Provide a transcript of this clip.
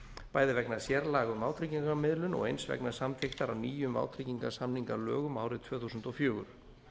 bæði vegna sérlaga um vátryggingamiðlun og eins vegna samþykktar á nýjum vátryggingarsamningalögum árið tvö þúsund og fjögur